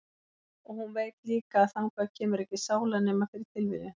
Og hún veit líka að þangað kemur ekki sála nema fyrir tilviljun.